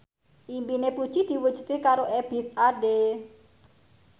impine Puji diwujudke karo Ebith Ade